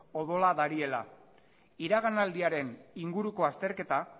odola dariela iraganaldiaren inguruko azterketa